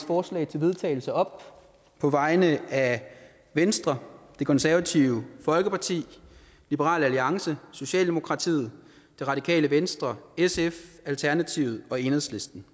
forslag til vedtagelse op på vegne af venstre det konservative folkeparti liberal alliance socialdemokratiet det radikale venstre sf alternativet og enhedslisten